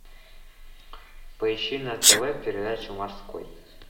поищи на тв передачу морской